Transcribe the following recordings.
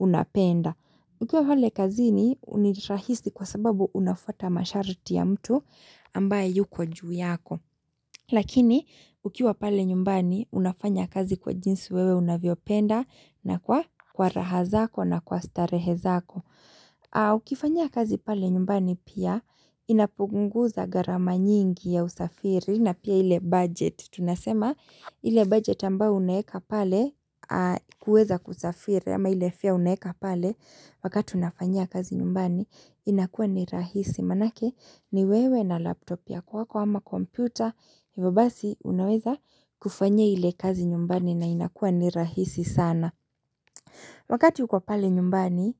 unapenda Ukiwa pale kazini nirahisi kwa sababu unafuata mashariti ya mtu ambaye yuko juu yako. Lakini ukiwa pale nyumbani unafanya kazi kwa jinsi wewe unavyo penda na kwa raha zako na kwa starehe zako. Haa ukifanya kazi pale nyumbani pia inapunguza gharama nyingi ya usafiri na pia ile budget tunasema ile budget ambayo unaeka pale kuweza kusafiri ama ile fara uneeka pale wakati unafanya kazi nyumbani inakuwa ni rahisi manake ni wewe na laptop ya kwako ama kompyuta hivo basi unaweza kufanya ile kazi nyumbani na inakuwa ni rahisi sana. Wakati uko pale nyumbani,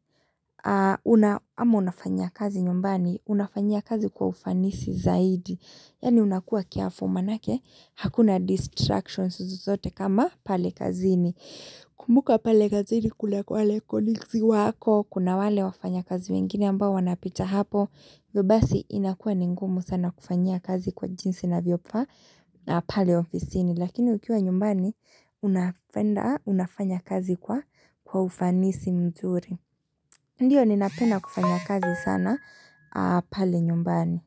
ama unafanyia kazi nyumbani, unafanyia kazi kwa ufanisi zaidi. Yaani unakuwa careful manake hakuna distractions zote kama pale kazini. Kumbuka pale kazini kuna wale colleagues wako, kuna wale wafanyakazi wengine ambao wanapita hapo, hivyo basi inakuwa ni ngumu sana kufanyia kazi kwa jinsi inavyofaa na pale ofisini. Lakini ukiwa nyumbani unafanya kazi kwa ufanisi mzuri Ndiyo ninapenda kufanya kazi sana pale nyumbani.